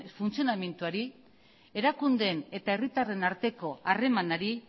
funtzionamenduari erakundeen eta herritarren arteko harremanari